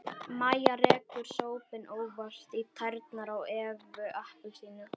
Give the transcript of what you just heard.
Mæja rekur sópinn óvart í tærnar á Evu appelsínu.